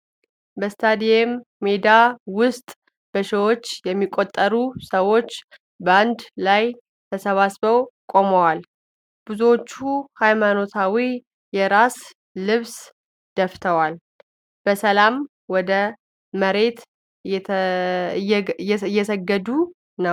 በስታዲየም ሜዳ ውስጥ በሺዎች የሚቆጠሩ ሰዎች በአንድ ላይ ተሰባስበው ቆመዋል። ብዙዎቹ ሃይማኖታዊ የራስ ልብስ ደፍተው፣ በሰላም ወደ መሬት እየሰገዱ ነው።